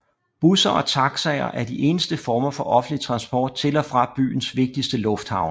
Busser og taxier er de eneste former for offentlig transport til og fra byens vigtigste lufthavne